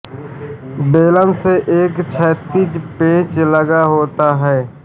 बेलन से एक क्षैतिज पेंच लगा होता था